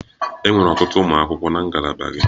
Enwere ọtụtụ ụmụ akwụkwọ na ngalaba gị?